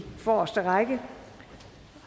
forreste række